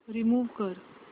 remove कर